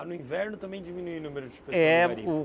Ah, no inverno também diminuiu o número de É por